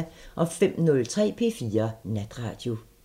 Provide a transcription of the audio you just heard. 05:03: P4 Natradio